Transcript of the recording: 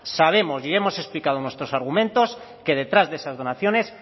sabemos y hemos explicado nuestros argumentos que detrás de esas operaciones